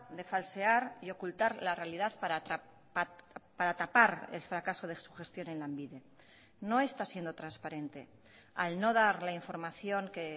de falsear y ocultar la realidad para tapar el fracaso de su gestión en lanbide no está siendo transparente al no dar la información que